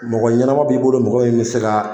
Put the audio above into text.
Mɔgɔ ɲanama b'i bolo mɔgɔ min bi se ka.